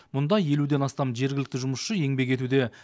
мұнда елуден астам жергілікті жұмысшы еңбек етуде